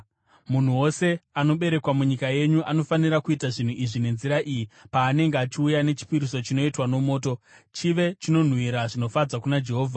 “ ‘Munhu wose anoberekwa munyika yenyu, anofanira kuita zvinhu izvi nenzira iyi paanenge achiuya nechipiriso chinoitwa nomoto, chive chinonhuhwira zvinofadza kuna Jehovha.